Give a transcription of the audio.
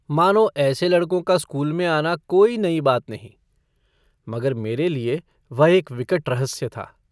मानो ऐसे लड़कों का स्कूल में आना कोई नई बात नहीं। मगर मेरे लिए वह एक विकट रहस्य था।